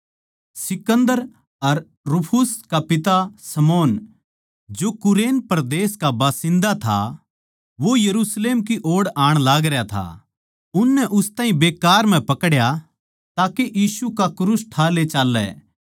सिकन्दर अर रूफुस का पिता शमौन जो कुरेन परदेस का बसिन्दा था वो यरुशलेम की ओड़ आण लागरया था उननै उस ताहीं बेकार म्ह पकड्या ताके यीशु का क्रूस ठाकै ले चाल्लै